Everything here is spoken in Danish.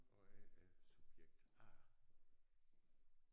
Og jeg er subjekt A